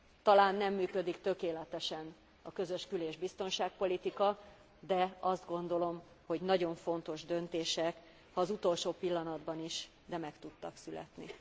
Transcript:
Talán nem működik tökéletesen a közös kül és biztonságpolitika, de azt gondolom, hogy nagyon fontos döntések, ha az utolsó pillanatban is, de meg tudtak születni.